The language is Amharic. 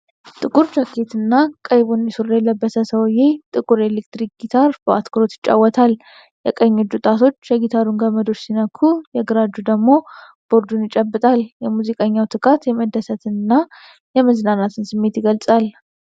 ጥቁር ጃኬትና ቀይ ቡኒ ሱሪ የለበሰ ሰውዬ ጥቁር የኤሌክትሪክ ጊታር በአትኩሮት ይጫወታል። የቀኝ እጁ ጣቶች የጊታሩን ገመዶች ሲነኩ የግራ እጁ ደግሞ ቦርዱን ይጨብጣል። የሙዚቀኛው ትጋት የመደሰትንና የመዝናናትን ስሜት ይገልጻል።